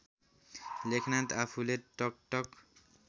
लेखनाथ आफूले टकटक